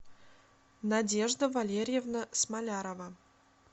надежда валерьевна смолярова